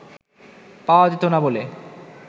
পাওয়া যেত না বলে